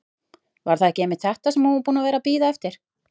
Var það ekki einmitt þetta sem hún var búin að vera að bíða eftir?